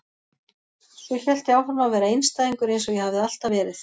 Svo hélt ég áfram að vera einstæðingur eins og ég hafði alltaf verið.